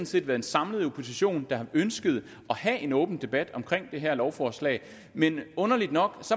set været en samlet opposition der har ønsket at have en åben debat om det her lovforslag men underligt nok